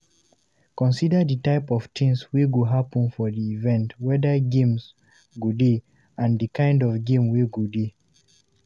Consider di type of things wey go happen for di event weda games go dey and di kind of game wey go dey